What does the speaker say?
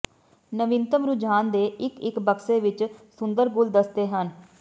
ਨਵੀਨਤਮ ਰੁਝਾਨ ਦੇ ਇੱਕ ਇੱਕ ਬਕਸੇ ਵਿੱਚ ਸੁੰਦਰ ਗੁਲਦਸਤੇ ਹਨ